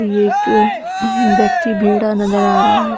ये एक व्यक्ति भेड़ा नज़र आ रहा हैं ।